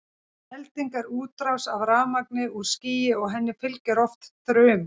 elding er útrás af rafmagni úr skýi og henni fylgir oft þruma